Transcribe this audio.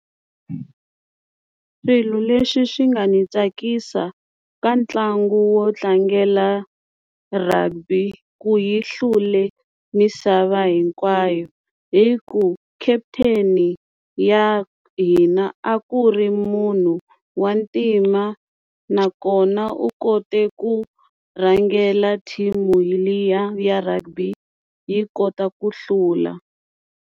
Swilo leswi swi nga ni tsakisa ka ntlangu wo tlangela rugby ku yi hlule misava hinkwayo hi ku captain-i ya hina a ku ri munhu wa ntima nakona u kote ku rhangela team liya ya rugby yi kota ku hlula.